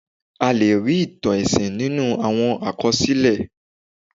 A lè rí ìtàn ẹ̀sìn nínú àwọn àkọsílẹ̀.